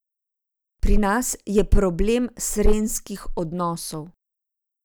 Pri nas je problem srenjskih odnosov.